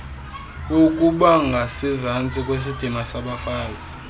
ukubangasezantsi kwesidima sabafazi